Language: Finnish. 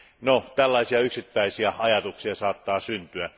No, tällaisia yksittäisiä ajatuksia saattaa syntyä.